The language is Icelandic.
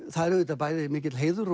það er auðvitað bæði mikill heiður